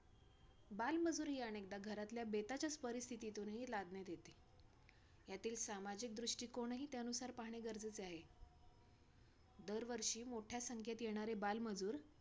बालमजुरी हि अनेकदा घरातल्या बेताच्याच परिस्थितीतुनही लादण्यात येते, यातील सामाजिक दृष्टिकोण हि त्यानुसार पाहणे गरजेचे आहे. दरवर्षी मोठ्या संख्येत येणारे बालमजूर,